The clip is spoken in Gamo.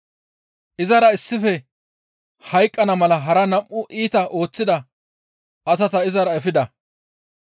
Izara issife hayqqana mala hara nam7u iita ooththida asata izara efida.